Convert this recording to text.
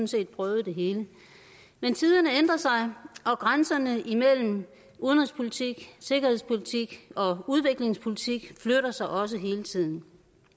set prøvet det hele men tiderne ændrer sig og grænserne imellem udenrigspolitik sikkerhedspolitik og udviklingspolitik flytter sig også hele tiden